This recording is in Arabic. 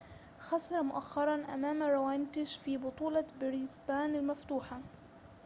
خسر مؤخرًا أمام راونيتش في بطولة بريسبان المفتوحة